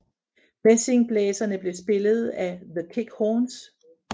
Messingblæserne blev spillet af The Kick Horns